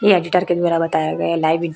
ये एडिटर के द्वारा बताया गया लाइव इं--